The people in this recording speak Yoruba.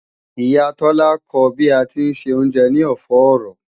Ìyá Tola ko ba ti ń ṣe oúnjẹ ní ọ̀fọ́ọ̀rọ̀